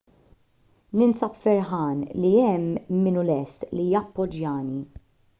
ninsab ferħan li hemm min hu lest li jappoġġjani